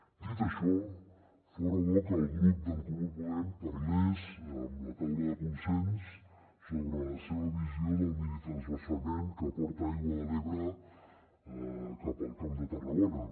dit això fora bo que el grup d’en comú podem parlés amb la taula de consens sobre la seva visió del minitransvasament que porta aigua de l’ebre cap al camp de tarragona